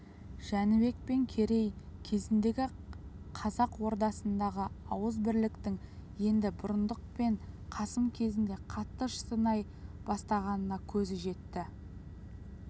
жәнібек пен керей кезіндегі қазақ ордасындағы ауыз бірліктің енді бұрындық пен қасым кезінде қатты шытынай бастағанына көзі жетті